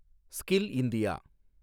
skill India